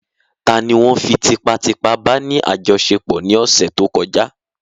Tani won fí tipá tipá bá ní àjọṣepọ̀ ní ọ̀sẹ̀ tó kọjá?